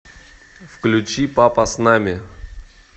включи папа с нами